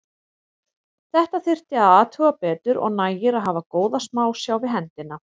Þetta þyrfti að athuga betur og nægir að hafa góða smásjá við hendina.